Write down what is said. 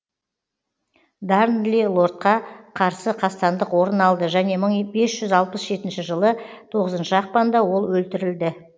дарнли лордқа қарсы қастандық орын алды және мың бес жүз алпыс жетінші жылы тоғызыншы ақпанда ол өлтірілді